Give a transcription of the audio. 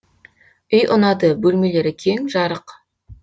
үй ұнады бөлмелері кең жарық